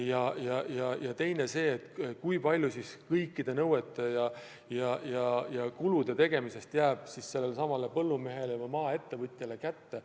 Ja teine vaatepunkt on see, kui palju raha jääb pärast kõikide nõuete täitmisega seotud ja muude kulude tegemist põllumehele ehk maaettevõtjale kätte.